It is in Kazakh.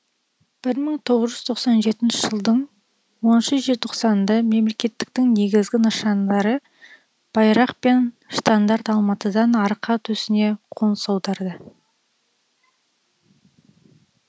бір мың тоғыз жүз тоқсан жетінші жылдың оныншы желтоқсанында мемлекеттіліктің негізгі нышандары байрақ пен штандарт алматыдан арқа төсіне қоныс аударды